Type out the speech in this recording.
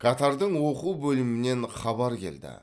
катардың оқу бөлімінен хабар келді